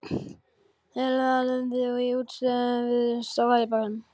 Helena lenti í útistöðum við strákana í bekknum.